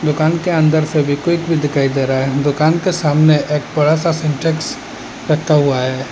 दुकान के अंदर फेवीक्विक भी दिखाई दे रहा है दुकान के सामने एक बड़ा सा सिंटेक्स रखा हुआ है।